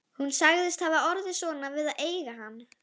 Hún sagðist hafa orðið svona við að eiga hann